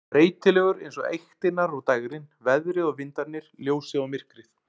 Breytilegur eins og eyktirnar og dægrin, veðrið og vindarnir, ljósið og myrkrið.